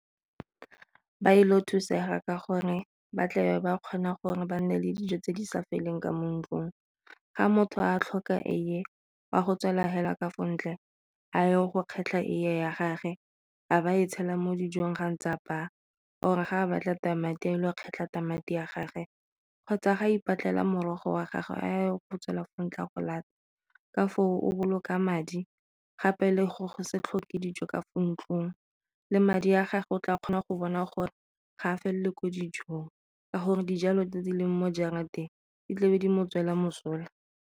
Ba ile go thusega ka gore ba tle ba kgona gore ba nne le dijo tse di sa feleng ka mo ntlung, ga motho a tlhoka eiye wa go tswela fela ka fa ntle a ye go kgetlha eiye ya gage a ba e tshela mo dijong ga ntse a apaya or ga a batla tamati a ile go kgetlha ditamati a gagwe kgotsa ga ipatlela morogo wa gagwe a yo go tswela ka foo o boloka madi gape le go go se tlhoke dijo ka fa ntlong le madi a gago o tla kgona go bona gore ga a felele ko dijong, ka gore dijalo tse di leng mo jarateng di tlabe di mo tswela mosola.